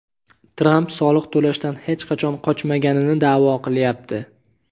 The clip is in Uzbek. Tramp soliq to‘lashdan hech qachon qochmaganini da’vo qilyapti.